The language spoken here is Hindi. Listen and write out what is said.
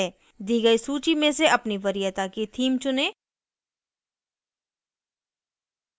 दी गयी सूची में से अपनी वरियता की theme चुनें